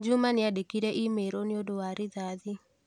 Juma nĩandĩkĩire i-mīrū nĩũndũ wa rithathi.